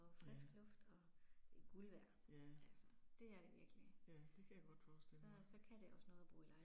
Ja. Ja. Ja det kan jeg godt forestille mig